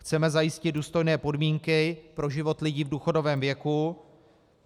Chceme zajistit důstojné podmínky pro život lidí v důchodovém věku.